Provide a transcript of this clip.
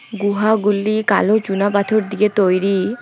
গুহাগুলি কালো চুনা পাথর দিয়ে তৈরি।